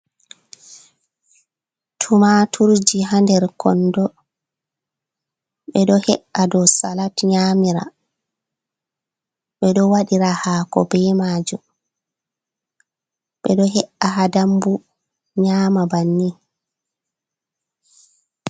"Tumaturji" ha nder kondo ɓe ɗo he’a dow salat nyamira ɓe ɗo wadira hako be majum ɓe ɗo he’a ha damɓu nyama banni.